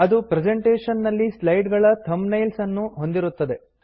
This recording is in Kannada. ಅದು ಪ್ರೆಸೆಂಟೇಶನ್ ನಲ್ಲಿ ಸ್ಲೈಡ್ ಗಳ ಥಂಬ್ನೇಲ್ಸ್ ಅನ್ನು ಹೊಂದಿರುತ್ತದೆ